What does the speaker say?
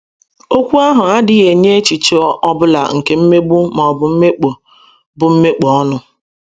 Okwu ahụ adịghị enye echiche ọ bụla nke mmegbu ma ọ bụ mmekpọ bụ mmekpọ ọnụ.